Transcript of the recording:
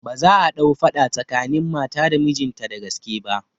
Ba za'a ɗau faɗa tsakanin mata da mijinta da gaske ba